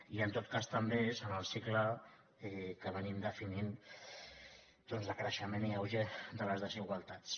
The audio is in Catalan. i en tot cas també és en el cicle que venim definint doncs de crei·xement i auge de les desigualtats